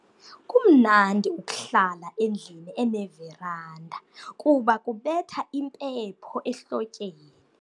Kumnandi ukuhlala endlwini eneveranda kuba kubetha impepho ehlotyeni.